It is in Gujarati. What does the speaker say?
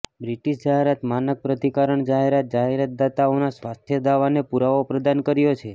બ્રિટિશ જાહેરાત માનક પ્રાધિકરણ જાહેરાત જાહેરાતદાતાઓના સ્વાસ્થ્ય દાવાને પુરાવો પ્રદાન કર્યો છે